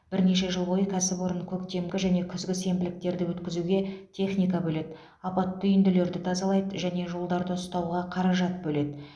бірнеше жыл бойы кәсіпорын көктемгі және күзгі сенбіліктерді өткізуге техника бөледі апатты үйінділерді тазалайды және жолдарды ұстауға қаражат бөледі